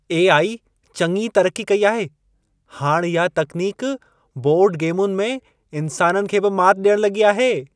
AI. चङी तरक्की कई आहे। हाणि इहा तकनीक बोर्ड गेमुनि में, इंसाननि खे बि माति ॾियणु लॻी आहे।